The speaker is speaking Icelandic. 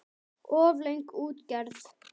Of löng útgerð.